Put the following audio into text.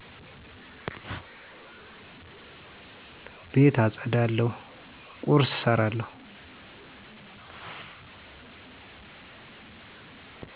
ቤት አፀዳለሁ ቁርስ እሰራለሁ